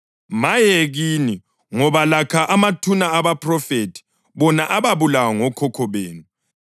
Maye kini, ngoba lakha amathuna abaphrofethi, bona ababulawa ngokhokho benu.